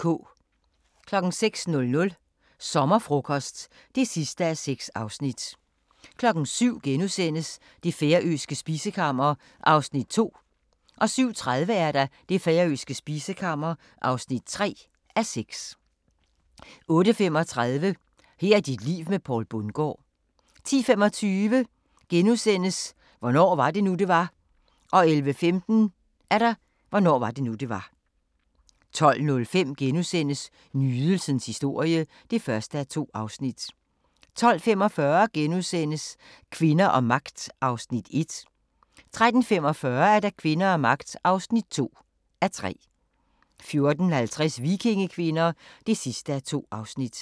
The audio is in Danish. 06:00: Sommerfrokost (6:6) 07:00: Det færøske spisekammer (2:6)* 07:30: Det færøske spisekammer (3:6) 08:35: Her er dit liv med Poul Bundgaard 10:25: Hvornår var det nu, det var? * 11:15: Hvornår var det nu, det var? 12:05: Nydelsens historie (1:2)* 12:45: Kvinder og magt (1:3)* 13:45: Kvinder og magt (2:3) 14:50: Vikingekvinder (2:2)